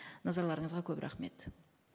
назарларыңызға көп рахмет